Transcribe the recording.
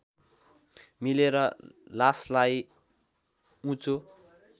मिलेर लासलाई उँचो